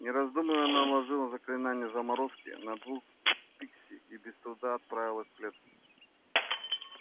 не раздумывая она наложила заклинание заморозки на двух пикси и без труда отправила в клетку